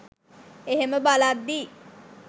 එහෙම බලද්දී